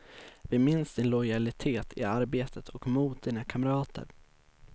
Vi minns din lojalitet i arbetet och mot dina kamrater.